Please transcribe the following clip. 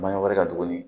Maɲɔ wɛrɛ ka tuguni